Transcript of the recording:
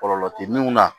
Kɔlɔlɔ tɛ min na